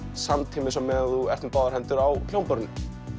samtímis á meðan þú ert með báðar hendur á hljómborðinu